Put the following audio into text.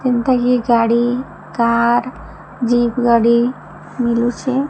ଏନତା କି ଗାଡ଼ି car jeep ଗାଡି ମିଲୁଛେ।